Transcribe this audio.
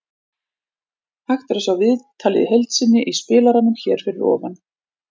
Hægt er að sjá viðtalið í heild sinni í spilaranum hér fyrir ofan.